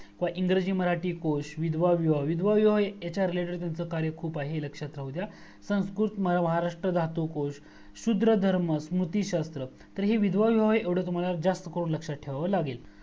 व इंग्रजी मराठी कोश विधवा विवाह विधवा विवाह याच्या related त्यांचा खूप कार्य आहे हे लक्ष्यात राहू द्या संस्कृत महाराष्ट्र धातू कोश, शूद्रधर्म, मोतीशस्त्र, विधवा विवाह हे तुम्हाला कोश जास्त करून लक्षात ठेवावा लागेल.